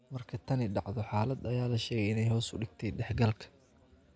Marka tani dhacdo, xaalad ayaa la sheegay inay hoos u dhigtay dhexgalka.